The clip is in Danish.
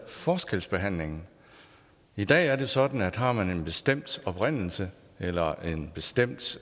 forskelsbehandlingen i dag er det sådan at har man en bestemt oprindelse eller en bestemt